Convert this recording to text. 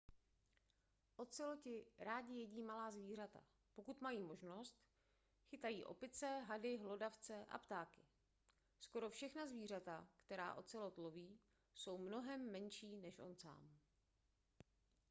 oceloti rádi jedí malá zvířata pokud mají možnost chytají opice hady hlodavce a ptáky skoro všechna zvířata která ocelot loví jsou mnohem menší než on sám